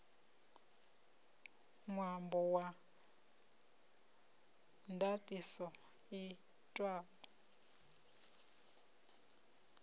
ṅwambo wa ndaṱiso i itwaho